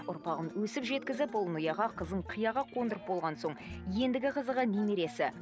ұрпағын өсіп жеткізіп ұлын ұяға қызын қияға қондырып болған соң ендігі қызығы немересі